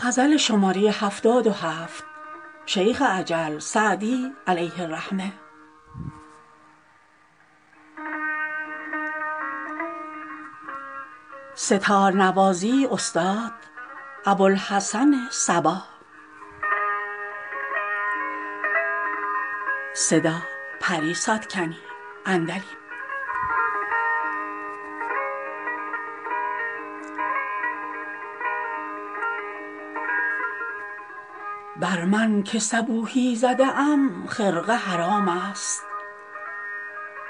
بر من که صبوحی زده ام خرقه حرام است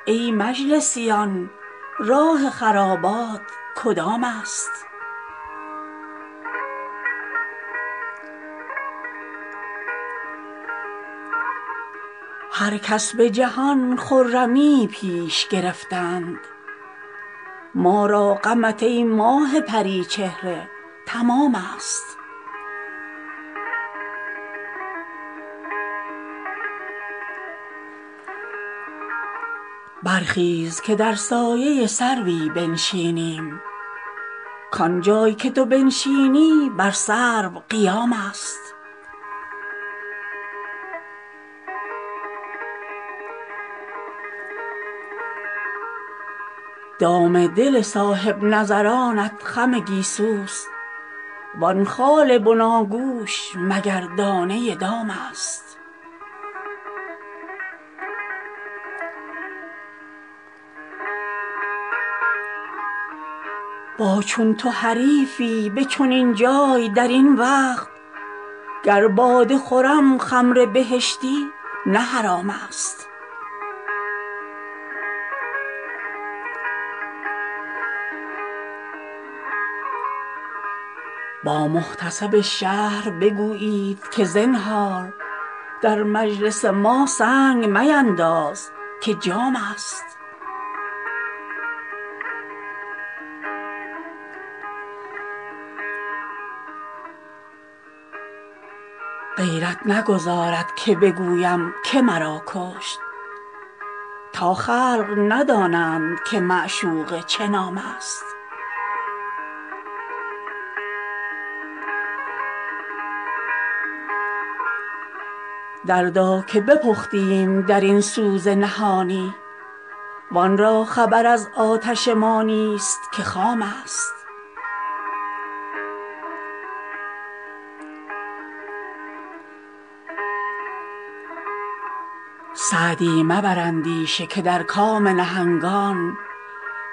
ای مجلسیان راه خرابات کدام است هر کس به جهان خرمیی پیش گرفتند ما را غمت ای ماه پری چهره تمام است برخیز که در سایه سروی بنشینیم کانجا که تو بنشینی بر سرو قیام است دام دل صاحب نظرانت خم گیسوست وان خال بناگوش مگر دانه دام است با چون تو حریفی به چنین جای در این وقت گر باده خورم خمر بهشتی نه حرام است با محتسب شهر بگویید که زنهار در مجلس ما سنگ مینداز که جام است غیرت نگذارد که بگویم که مرا کشت تا خلق ندانند که معشوقه چه نام است دردا که بپختیم در این سوز نهانی وان را خبر از آتش ما نیست که خام است سعدی مبر اندیشه که در کام نهنگان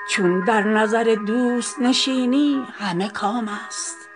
چون در نظر دوست نشینی همه کام است